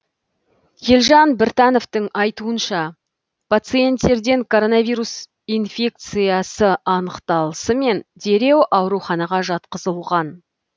елжан біртановтың айтуынша пациенттерден коронавирус инфекциясы анықталысымен дереу ауруханаға жатқызылған